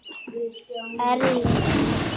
Erling Már.